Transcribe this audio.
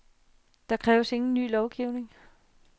Der kræves ingen ny lovgivning.